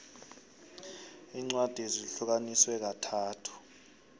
incwadi zihlukaniswe kathathu